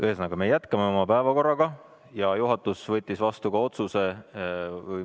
Ühesõnaga, me jätkame oma päevakorraga ja juhatus võttis vastu ka otsuse.